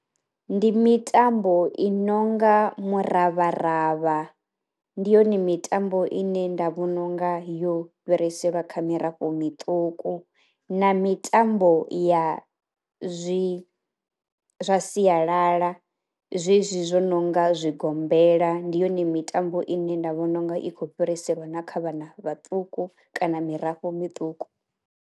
Ndi mitambo i nonga muravharavha ndi yone mitambo ine nda vhona unga yo fhiriselwa kha mirafho miṱuku na mitambo ya zwi zwa sialala zwezwi zwo no nga zwi gombela. ndi yone mitambo ine nda vhona unga i khou fhiriselwa na kha vhana vhaṱuku kana mirafho mituku.